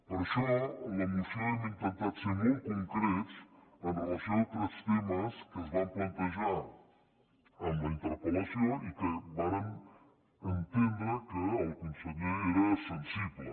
per això en la moció hem intentat ser molt concrets amb relació a tres temes que es van plantejar en la interpel·lació i als quals vàrem entendre que el conseller era sensible